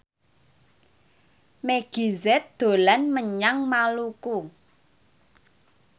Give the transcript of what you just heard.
Meggie Z dolan menyang Maluku